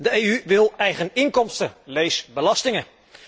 De EU wil eigen inkomsten lees belastingen.